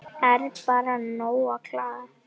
Er bara nóg að klaga?